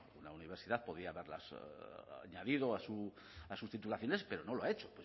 la universidad podía haberlas añadido a sus titulaciones pero no lo ha hecho